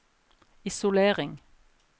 isolering